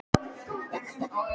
Geta þeir ekki hafa lekið þessu?